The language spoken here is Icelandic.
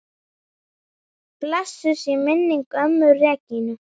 Blessuð sé minning ömmu Regínu.